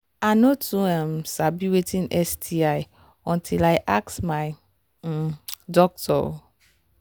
i no too um sabi watin sti until i ask my um doctor um